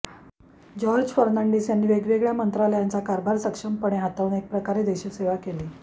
George Fernandes यांनी वेगवेगळ्या मंत्रालयांचा कारभार सक्षमपणे हाताळून एकप्रकारे देशसेवा केली